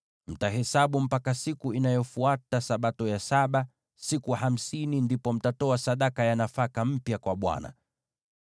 Mtahesabu siku hamsini mpaka siku inayofuata Sabato ya saba, ndipo mtatoa sadaka ya nafaka mpya kwa Bwana .